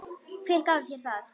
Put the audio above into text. Hver gaf þér það?